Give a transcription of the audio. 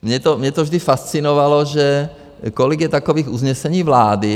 Mě to vždy fascinovalo, že kolik je takových usnesení vlády.